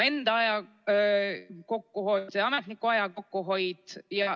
Enda aja kokkuhoid, ametniku aja kokkuhoid.